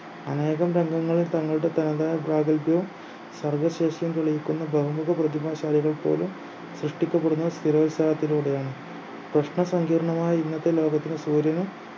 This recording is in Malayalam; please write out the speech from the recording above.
അനേകം തങ്കങ്ങൾ തങ്ങളുടെ പാതാ പ്രാഗൽഭ്യ സർഗ്ഗശേഷിയും തെളിയിക്കുന്ന ബഹുമുഖ പ്രതിഭാശാലികൾ പോലും സൃഷ്ടിക്കപ്പെടുന്ന സ്ഥിരോത്സാഹത്തിലൂടെയാണ് പ്രശ്ന സങ്കീർണ്ണമായ ഇന്നത്തെ ലോകത്തിനും സൂര്യനും